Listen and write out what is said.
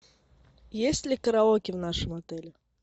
есть ли караоке в нашем отеле